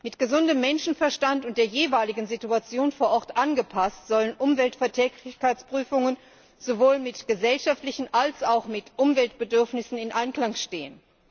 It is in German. Mit gesundem Menschenverstand und der jeweiligen Situation vor Ort angepasst sollen Umweltverträglichkeitsprüfungen sowohl mit gesellschaftlichen als auch mit Umweltbedürfnissen in Einklang stehen.